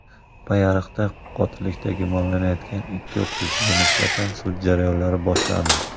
Payariqda qotillikda gumonlanayotgan ikki o‘qituvchiga nisbatan sud jarayoni boshlandi.